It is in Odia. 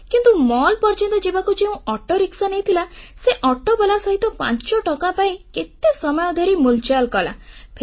କିନ୍ତୁ ମଲ୍ ପର୍ଯ୍ୟନ୍ତ ଯିବାକୁ ଯେଉଁ ଅଟୋରିକ୍ସା ନେଇଥିଲା ସେ ଅଟୋବାଲା ସହିତ 5 ଟଙ୍କା ପାଇଁ କେତେ ସମୟ ଧରି ମୁଲଚାଲ କଲା